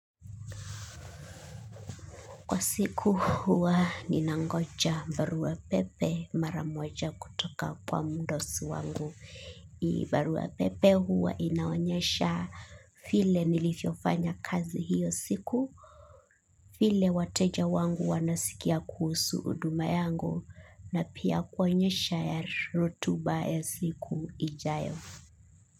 Kwa siku huwa ninangoja baruapepe mara moja kutoka kwa mdosi wangu. Hii baruapepe huwa inaonyesha vile nilivyofanya kazi hiyo siku. Vile wateja wangu wanasikia kuhusu huduma yangu na pia kuonyesha ya rotuba ya siku ijayo.